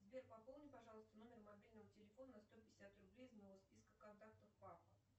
сбер пополни пожалуйста номер мобильного телефона на сто пятьдесят рублей из моего списка контактов папа